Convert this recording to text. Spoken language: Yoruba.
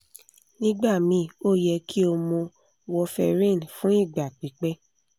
nigbamii o yẹ ki o mu warferin fun igba pipẹ